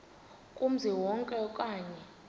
kumzi wonke okanye